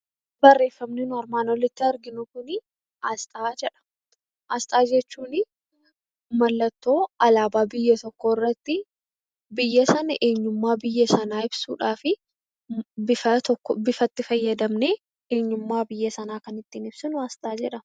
Barreeffamni nuyi armaan olitti arginu Kun asxaa jedha. Asxaa jechuun mallattoo alaabaa biyya tokkoo irratti biyya sana eenyummaa biyya sanaa ibsuudhaaf bifa itti fayyadamnee eenyummaa biyya sanaa ittiin ibsinu asxaa jedhama.